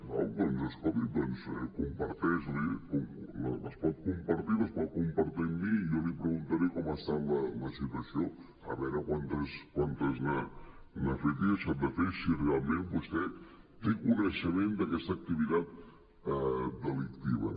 d’acord doncs escolti comparteixi les les pot compartir i les pot compartir amb mi i jo li preguntaré com està la situació a veure quantes n’ha fet i deixat de fer si realment vostè té coneixement d’aquesta activitat delictiva